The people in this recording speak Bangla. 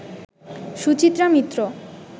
সুচিত্রা মিত্র